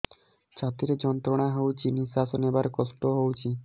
ଛାତି ରେ ଯନ୍ତ୍ରଣା ହଉଛି ନିଶ୍ୱାସ ନେବାରେ କଷ୍ଟ ହଉଛି